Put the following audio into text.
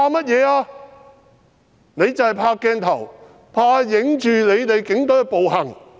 他們是怕鏡頭拍攝到警隊的暴行。